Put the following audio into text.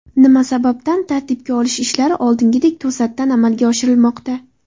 Nima sababdan tartibga solish ishlari oldingidek to‘satdan amalga oshirilmoqda?